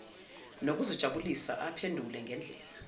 nokuzijabulisa aphendule ngendlela